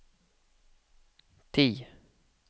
ti